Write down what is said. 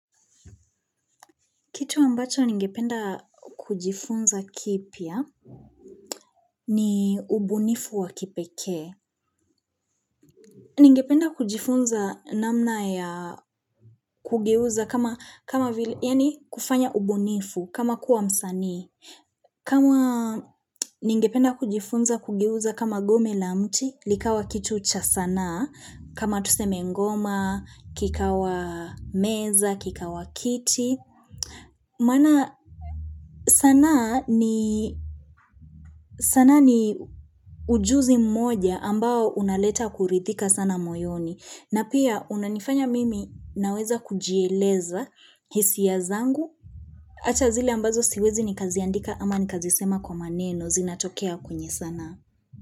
Kitu ambacho ningependa kujifunza kipya ni ubunifu wa kipekee. Ningependa kujifunza namna ya kugeuza kama kufanya ubunifu kama kuwa msanii. Kama ningependa kujifunza kugeuza kama gome la mti likawa kitu cha sana kama tuseme ngoma, kikawa meza, kikawa kiti. Maana sanaa ni ujuzi mmoja ambao unaleta kurithika sana moyoni. Na pia unanifanya mimi naweza kujieleza hisia zangu. Acha zile ambazo siwezi nikaziandika ama nikazisema kwa maneno zinatokea kwenye sanaa.